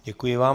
Děkuji vám.